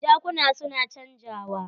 Jakuna su na canjawa.